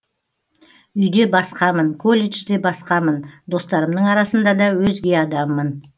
үйде басқамын колледжде басқамын достарымның арасында да өзге адаммын